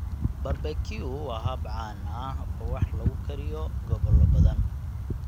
Barbeque waa hab caan ah oo wax lagu kariyo gobolo badan.